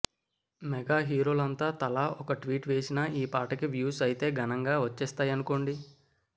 mega హీరోలంతా తలా ఒక ట్వీట్ వేసినా ఈ పాటకి వ్యూస్ అయితే ఘనంగా వచ్చేస్తాయనుకోండి